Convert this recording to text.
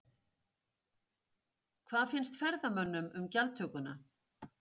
Hvað finnst ferðamönnum um gjaldtökuna?